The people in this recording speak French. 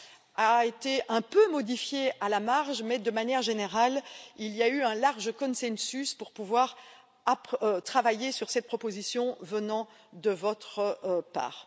Elle a été un peu modifiée à la marge mais, de manière générale, il y a eu un large consensus pour pouvoir travailler sur cette proposition de votre part.